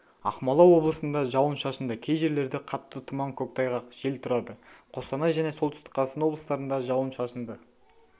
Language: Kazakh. ақмола облысында жауын-шашынды кей жерлерде қатты тұман көктайғақ жел тұрады қостанай және солтүстік қазақстан облыстарында жауын-шашынды